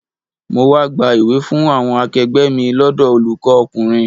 Mo wá gba ìwé fún àwọn akegbe mi lọ́dọ̀ olùkọ́ ọkùnrin.